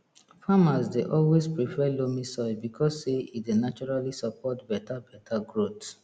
farmers dey always prefer loamy soil because say e dey naturally support beta beta growth